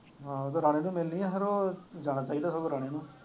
ਹਾਂ ਤੇ ਰਾਣੇ ਨੂੰ ਹੀ ਮਿਲਣੀ ਹੈ ਫਿਰ ਉਹ ਜਾਣਾ ਚਾਹੀਦਾ ਸਗੋਂ ਰਾਣੇ ਨੂੰ।